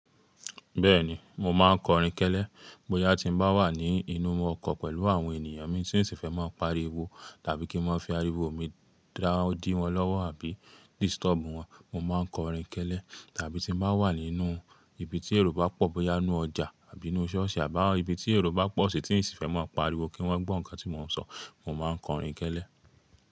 Bẹ́ẹ̀ni, mo máa ń kọrin kẹ́lẹ́ bóyá tí mo bá wà ní inú ọkọ̀ pẹ̀lú àwọn ènìyàn mi tí n sì fẹ́ máa pariwo tàbí kí n máa fi ariwo mi dá odí wọn lọ́wọ́ àbí disturb wọn, mo máa ń kọrin kẹ́lẹ́. Tàbí tí mo bá wà nínú ibi tí ero ba pọ̀ bóyá inú ọjà àbí inú ṣọ́ọ̀ṣì àbá ibi tí ero ba pọ̀ sì tí n sì fẹ́ máa pariwo kí wọ́n gbọ́ nǹkan tí mò ń sọ, mo máa ń kọrin kẹ́lẹ́